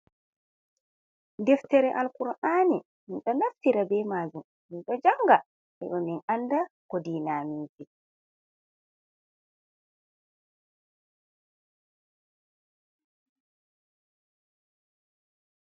Deftere al-ƙur'ani. Min ɗo naftira be majum, min ɗo janga heɓa min anda ko diina amin vi.